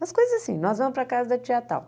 Mas coisa assim, nós vamos para a casa da tia tal.